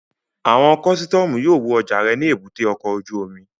Àwọn kọ́sítọ́mù yóò wo ọjà rẹ ní èbúté ọkọ̀ ojú omi